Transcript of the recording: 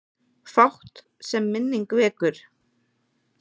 Fátt, sem minning vekur.